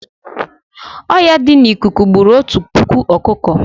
Ọya di n'ikuku gburu Otu puku ọkụkọ